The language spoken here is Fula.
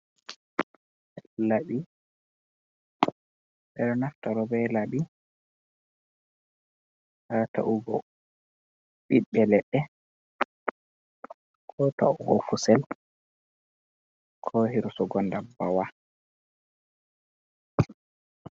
Laɓi ɓeɗo naftiro be Laɓi ha ta’ugo ɓiɓɓe leɗɗe ko ta’ugo kusel ko hirsugo dabbbawa.